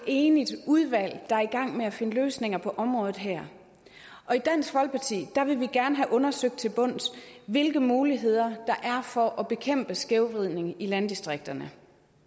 enigt udvalg der er i gang med at finde løsninger på området her og i dansk folkeparti vil vi gerne have undersøgt til bunds hvilke muligheder der er for at bekæmpe skævvridningen i landdistrikterne